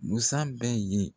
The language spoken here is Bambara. Musan bɛ ye.